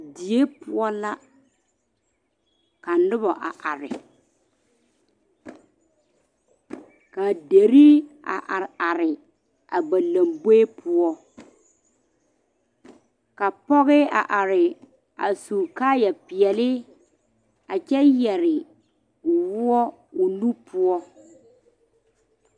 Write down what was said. Die poɔ la ka noba a are ka dire a are are a ba lanboɛ poɔ ka pɔge a are a su kaayaa peɛle a kyɛ yere woɔ o nu poɔ.